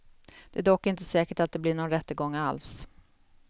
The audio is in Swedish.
Det är dock inte säkert att det blir någon rättegång alls.